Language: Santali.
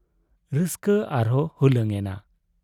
ᱨᱟᱹᱥᱠᱟᱹ ᱟᱨᱦᱚᱸ ᱦᱩᱞᱟᱹᱝ ᱮᱱᱟ ᱾